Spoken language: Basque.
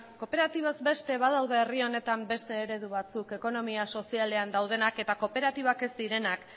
kooperatibak beste badaude herri honetan beste eredu batzuk ekonomia sozialean daudenak eta kooperatibak ez direnak